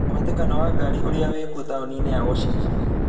mũhatĩkano wa ngari ũria wikũo taũni-inĩ ya washington